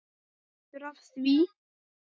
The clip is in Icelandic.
Partur af því?